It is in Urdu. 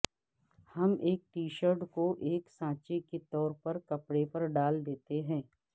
ہم ایک ٹی شرٹ کو ایک سانچے کے طور پر کپڑے پر ڈال دیتے ہیں